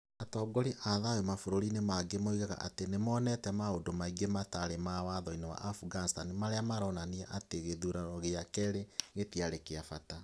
Atongoria a thayũ a mabũrũri mangĩ moigaga atĩ nĩ monete maũndũ maingĩ mataarĩ ma Watho-inĩ wa Afghanistan marĩa maronania atĩ gĩthurano gĩa kerĩ gĩtiarĩ kĩa bata.